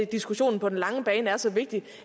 diskussionen på den lange bane er så vigtig